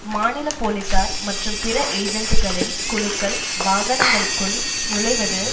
மாநில போலீசார் மற்றும் பிற ஏஜென்டுகளின் குழுக்கள் வாகனங்களுக்குள் நுழைவது